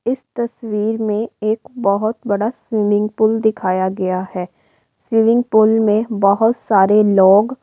इस तस्वीर में एक बहुत बड़ा स्विमिंग पूल दिखया गया है। स्विमिंग पूल में बहुत सारे लोग --